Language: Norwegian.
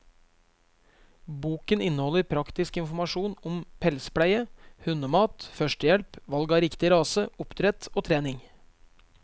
Boken inneholder praktisk informasjon om pelspleie, hundemat, førstehjelp, valg av riktig rase, oppdrett og trening.